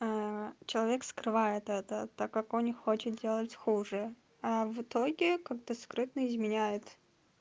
человек скрывает это так как он не хочет делать хуже а в итоге как то скрытно изменяет